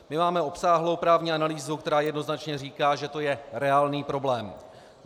My máme obsáhlou právní analýzu, která jednoznačně říká, že to je reálný problém.